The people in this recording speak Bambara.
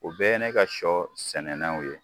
O bɛɛ ye ne ka sɔ sɛnɛnenw ye